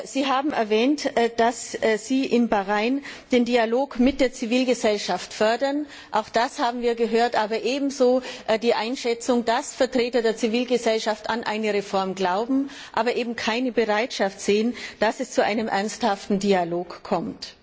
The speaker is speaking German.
Sie haben erwähnt, dass Sie in Bahrain den Dialog mit der Zivilgesellschaft fördern. Auch das haben wir gehört, aber ebenso die Einschätzung, dass Vertreter der Zivilgesellschaft an eine Reform glauben, aber eben keine Bereitschaft sehen, dass es zu einem ernsthaften Dialog kommt.